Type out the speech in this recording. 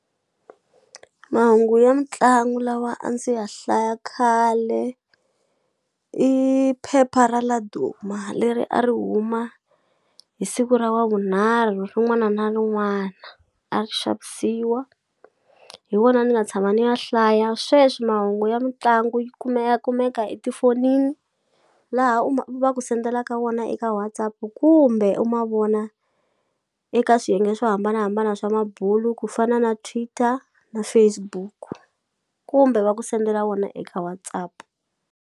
Mahungu ya mitlangu lawa a ndzi ya hlaya khale i phepha ra Laduma leri a ri huma hi siku ra wavunharhu rin'wana na rin'wana a ri xavisiwa hi wona ni nga tshama ni ya hlaya sweswi mahungu ya mitlangu yi kumeka kumeka etifonini laha u ma va ku sendelaka wona eka WhatsApp kumbe u ma vona eka swiyenge swo hambanahambana swa mabulu ku fana na Twitter na Facebook kumbe va ku sendela wona eka WhatsApp.